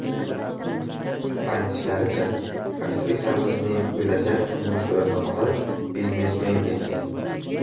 Aytishlaricha, aktrisamizning bo‘lajak turmush o‘rtog‘i biznesmen ekan.